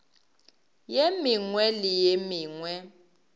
ye mengwe le ye mengwe